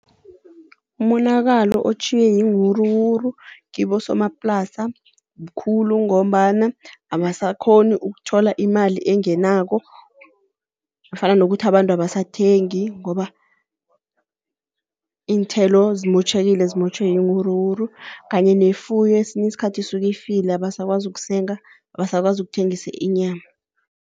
Umonakalo otjhiywe yiinwuruwuru kibosomaplasa mkhulu ngombana abasakhoni ukuthola imali engenako fana nokuthi abantu abasathengi, ngoba iinthelo zimotjhekile zimotjhwe yiinwuruwuru. Kanye nefuyo kwesinye isikhathi isuke ifile abasakwazi ukusenga, abasakwazi ukuthengisa inyama.